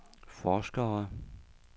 forskere